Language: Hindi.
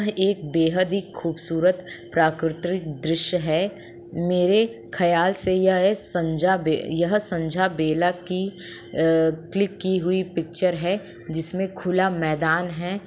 यह एक बेहद ही खूबसूरत प्राकृतिक दृश्य है। मेरे ख्याल से यह संजा बेह यह संजा बेला की अ क्लिक की हुई पिक्चर है जिसमें खुला मैदान है।